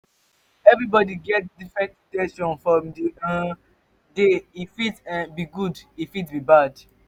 um everybody get different in ten tions from di um day e fit um be good e fit be bad